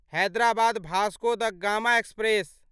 Hyderabad Vasco da Gama express